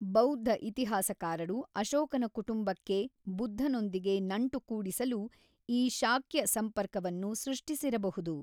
ಬೌದ್ಧ ಇತಿಹಾಸಕಾರರು ಅಶೋಕನ ಕುಟುಂಬಕ್ಕೆ ಬುದ್ಧನೊಂದಿಗೆ ನಂಟು ಕೂಡಿಸಲು ಈ ಶಾಕ್ಯ ಸಂಪರ್ಕವನ್ನು ಸೃಷ್ಟಿಸಿರಬಹುದು.